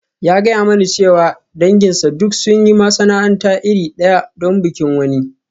Ya gaya mani cewa danginsa duk sun sayi masana'anta iri ɗaya don bikin wani.